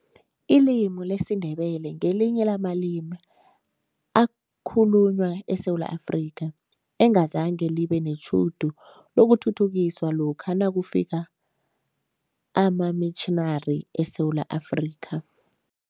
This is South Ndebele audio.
Ilimi lesiNdebele ngelinye lamalimi akhulunywa eSewula Afrika, engazange libe netjhudu lokuthuthukiswa lokha nakufika amamitjhinari eSewula Afrika.